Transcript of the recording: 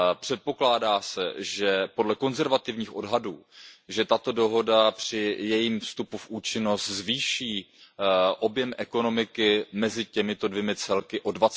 Předpokládá se, že podle konzervativních odhadů tato dohoda při jejím vstupu v účinnost zvýší objem ekonomiky mezi těmito dvěma celky o